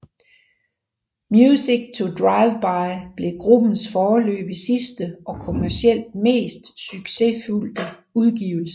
Music To Driveby blev gruppens foreløbig sidste og kommercielt mest succesfulde udgivelse